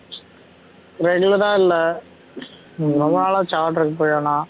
regular ஆ இல்ல ரொம்ம நாள் ஆச்சு order க்கு போயெல்லாம்